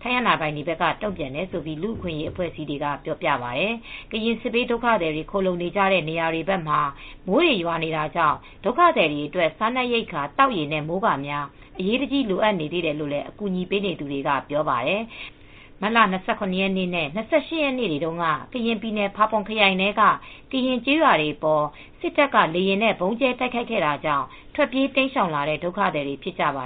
ထိုင်းအာဏာပိုင်တွေက တုံ့ပြန်တယ်လို့ လူအခွင့်ရေးအဖွဲ့အစည်းတွေကပြောပြပါတယ်။ ကရင်စစ်ဘေး ဒုက္ခသည်တွေ ခိုလှုံနေကြတဲ့ နေရာဘက်တွေမှာ မိုးတွေရွာနေတာတွေကြောင့် ဒုက္ခသည်တွေအတွက် စားနပ်ရိက္ခာ သောက်ရေနဲ့ မိုးကာများ အရေးတကြီး လိုအပ်နေသေးတယ်လို့ အကူအညီပေးနေသူတွေကပြောပါတယ်။မတ်လ ၂၇ ရက်နေ့နဲ့ ၂၈ ရက်နေ့တွေတုန်းက ကရင်ပြည်နယ်ဖာပွန်ခရိုင်ထဲက ကရင်ကျေးရွာတွေအပေါ် စစ်တပ်ကလေယာဉ်နဲ့ ဗုံးကြဲတိုက်ခိုက်ခဲ့တာကြောင့် ထွက်ပြေးတိမ်းရှောင်လာတဲ့ ဒုက္ခသည်တွေ ဖြစ်ကြပါ